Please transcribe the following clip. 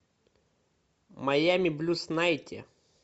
майами блюз найти